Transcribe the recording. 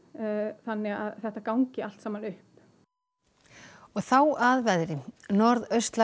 þannig að þetta gangi allt saman upp þá að veðri